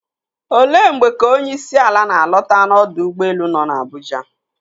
Olee mgbe ka onyeisiala na-alọta n'ọdọ ụgbọelu nọ n'Abuja?